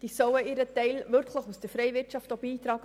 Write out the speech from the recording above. Sie soll ihren Teil aus der freien Wirtschaft auch beitragen.